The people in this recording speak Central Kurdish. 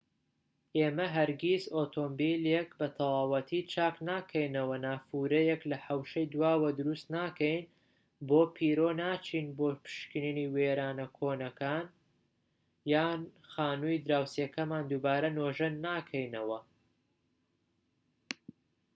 ئێمە هەرگیز ئۆتۆمۆبیلێک بە تەواوەتی چاک ناکەینەوە نافورەیەک لە حەوشەی دواوە دروست ناکەین بۆ پیرۆ ناچین بۆ پشکنینی وێرانە کۆنەکان یان خانووی دراوسێکەمان دووبارە نۆژەن ناکەینەوە